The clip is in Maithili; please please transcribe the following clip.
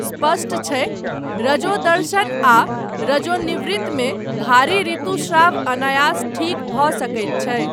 स्पष्ट छै, रजोदर्शन आ रजोनिवृत्ति मे भारी ऋतुस्राव अनायास ठीक भऽ सकैत छै।